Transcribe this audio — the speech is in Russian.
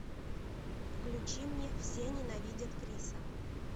включи мне все ненавидят криса